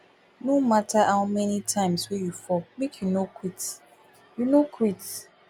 no mata how many times wey you fall make you no quit you no quit